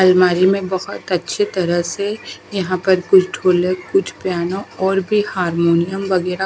अलमारी में बहोत अच्छे तरह से यहां पर कुछ ढोलक कुछ पियानो और भी हारमोनियम वगैरह--